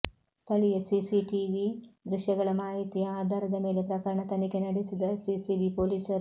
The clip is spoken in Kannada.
ಸ್ಥಳೀಯ ಸಿಸಿಟಿವಿ ದೃಶ್ಯಗಳ ಮಾಹಿತಿಯ ಆಧಾರದ ಮೇಲೆ ಪ್ರಕರಣ ತನಿಖೆ ನಡೆಸಿದ ಸಿಸಿಬಿ ಪೊಲೀಸರು